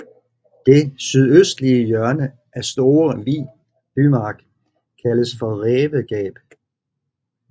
Det sydøstlige hjørne af Store Vi bymark kaldes for Rævegab